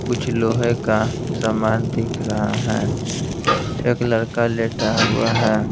कुछ लोहे का सामान दिख रहा है एक लड़का लेटा हुआ है।